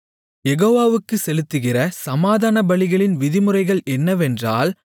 யெகோவாவுக்குச் செலுத்துகிற சமாதானபலிகளின் விதிமுறைகள் என்னவென்றால்